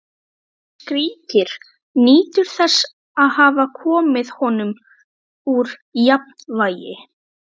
Hún skríkir, nýtur þess að hafa komið honum úr jafnvægi.